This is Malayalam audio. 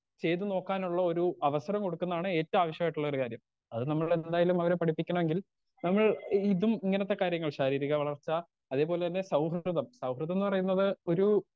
സ്പീക്കർ 2 ചെയ്ത് നോക്കാനുള്ള ഒരു അവസരം കൊടുക്കുന്നതാണ് ഏറ്റോം ആവശ്യായിട്ടുള്ള കാര്യം അത് നമ്മളെന്തായാലും അവരെ പഠിപ്പിക്കണമെങ്കിൽ നമ്മൾ ഇതും ഇങ്ങനത്തെ കാര്യങ്ങൾ ശാരീരിക വളർച്ച അതേപോലെ തന്നെ സൗഹൃദം സൗഹൃദംന്ന് പറയുന്നത് ഒരു.